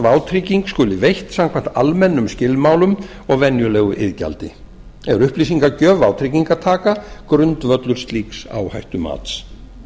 vátrygging skuli veitt samkvæmt almennum skilmálum og venjulegu iðgjaldi er upplýsingagjöf vátryggingartaka grundvöllur slíks áhættumats